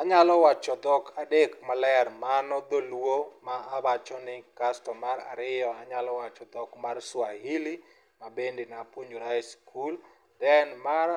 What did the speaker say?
Anyalo wacho dhok adek maler mano dholuo mano ma awachoni kasto mar ariyo anyalo wacho dhok mar swahili mabende napuonjora e skul then mar